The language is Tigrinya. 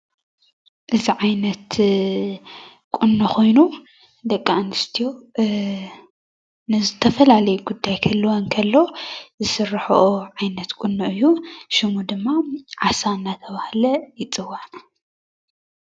እዚ ዓይነት ቁኖ ኮይኑ ደቂ ኣንስትዮ ንዝተፈላለየ ጉዳያት ክህልወን እንከሎ ዝስርሐኦ ዓይነት ቁኖ እዩ ሽሙ ድማ ዓሳ እናተብሃለ ይፅዋዕ፡፡